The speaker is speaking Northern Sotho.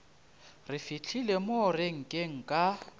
re fihlile mo renkeng ka